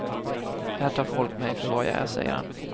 Här tar folk mig för vad jag är, säger han.